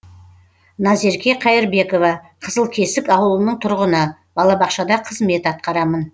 назерке қайырбекова қызыл кесік ауылының тұрғыны балабақшада қызмет атқарамын